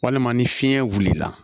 Walima ni fiɲɛ wulila